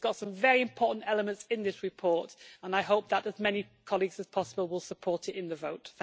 It's got some very important elements in this report, and I hope that as many colleagues as possible will support it in the vote.